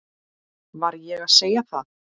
Var ég að segja það?